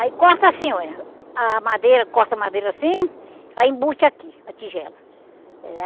Aí corta assim, oh menina a madeira, corta a madeira assim, aí embute aqui, a tigela. Eh